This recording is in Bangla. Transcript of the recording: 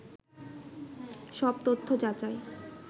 সব তথ্য যাচাই